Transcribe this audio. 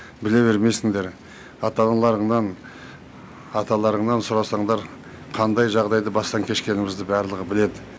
біле бермейсіңдер ата аналарыңнан аталарыңнан сұрасаңдар қандай жағдайды бастан кешкенімізді барлығы біледі